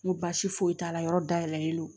N ko baasi foyi t'a la yɔrɔ dayɛlɛlen don